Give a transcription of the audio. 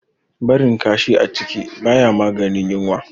Barin kashi a ciki baya maganin yunwa.